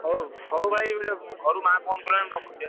ହଉ ହଉ ଭାଇ ଘରୁ ମା phone କଲାଣି ମୁଁ ରଖୁଚି ଆଁ?